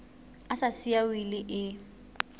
a sa siya wili e